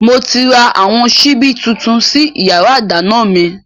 Moti ra àwọn síbí tuntun sí yàrá ìdáná mi